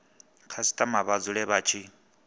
khasitama vha dzule vha tshi